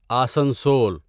Asansol